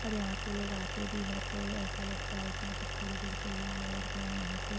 और यहा पे लोग आते भी है तो एसा लगता है के मतलब थोड़े देर के लिए आए और गए यहां पे--